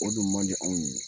O dun mandi anw ye